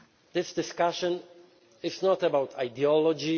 This discussion is not about ideology